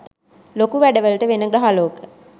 ලොකු වැඩ වලට වෙන ග්‍රහලෝක